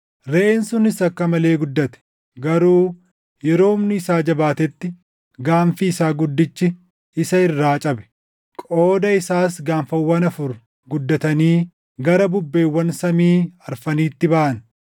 Reʼeen sunis akka malee guddate; garuu yeroo humni isaa jabaatetti gaanfi isaa guddichi isa irraa cabe; qooda isaas gaanfawwan afur guddatanii gara bubbeewwan samii afraniitti baʼan.